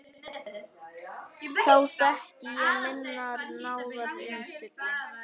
Þá þekki ég minnar náðar innsigli.